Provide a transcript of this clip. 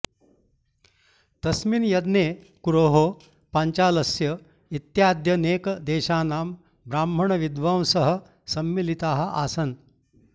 तस्मिन् यज्ञे कुरोः पाञ्चालस्य इत्याद्यनेकदेशानां ब्राह्मणविद्वांसः सम्मिलिताः आसन्